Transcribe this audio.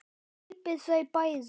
Grípið þau bæði!